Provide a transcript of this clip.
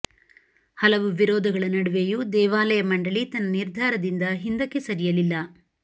ಹಲವು ವಿರೋಧಗಳ ನಡುವೆಯೂ ದೇವಾಲಯ ಮಂಡಳಿ ತನ್ನ ನಿರ್ಧಾರದಿಂದ ಹಿಂದಕ್ಕೆ ಸರಿಯಲಿಲ್ಲ